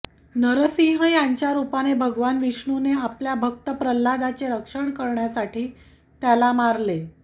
नरसिंह यांच्या रूपाने भगवान विष्णूने आपल्या भक्त प्रल्हादचे रक्षण करण्यासाठी त्याला मारले